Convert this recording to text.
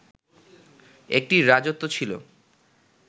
একটি রাজত্ব ছিল